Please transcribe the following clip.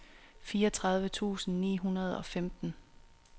fireogtredive tusind ni hundrede og femten